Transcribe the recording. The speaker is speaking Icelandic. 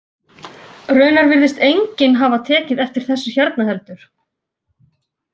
Raunar virðist enginn hafa tekið eftir þessu hérna heldur.